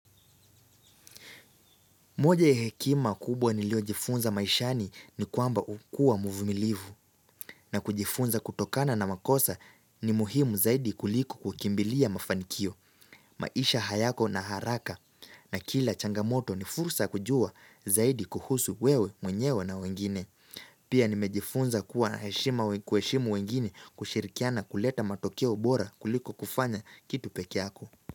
Moja ya hekima kubwa niliojifunza maishani ni kwamba ukua muvumilivu na kujifunza kutokana na makosa ni muhimu zaidi kuliko kukimbilia mafanikio, maisha hayako na haraka na kila changamoto ni fursa kujua zaidi kuhusu wewe mwenyewe na wengine. Pia nimejifunza kuwa na kueshimu wengine kushirikiana kuleta matokeo bora kuliku kufanya kitu peke yako.